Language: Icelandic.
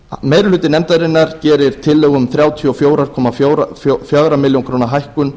meiri hluti nefndarinnar gerir tillögu um þrjátíu og fjögur komma fjögur ár hækkun